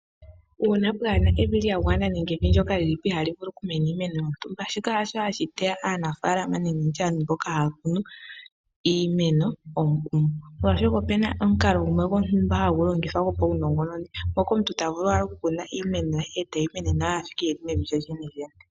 Uuna pwaa na evi lya gwana nenge evi ndyoka li li po ihaali vulu okumena iimeno yontumba shika hasho hashi teya aanafaalama nenge ndi tye aantu mboka haya kunu iimeno molwaashoka ope na omukalo gumwe gwontumba hagu longithwa gwopaunongononi moka omuntu ta vulu okukuna iimeno ye mevi lyo lyene.